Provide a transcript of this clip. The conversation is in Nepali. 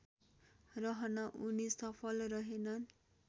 रहन उनी सफल रहेनन्